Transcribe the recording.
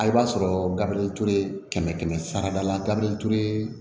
A b'a sɔrɔ gabriel kɛmɛ kɛmɛ sara la gabiyere